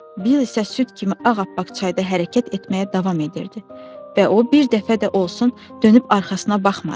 Bill isə süd kimi ağappaq çayda hərəkət etməyə davam edirdi və o bir dəfə də olsun dönüb arxasına baxmadı.